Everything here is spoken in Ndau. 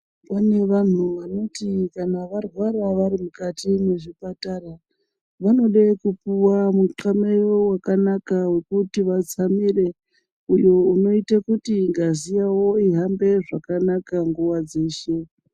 Kune vantu vanoti kana varwara vari mukati mwezvipatara. Vanoda kupuva mutxameyo vakanaka vekuti vatsamire. Uyu unoite kuti ngazi yavo ihambe zvakanaka nguva dzeshe.